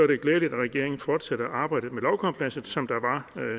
det glædeligt at regeringen fortsætter det arbejde med lovkomplekset som der var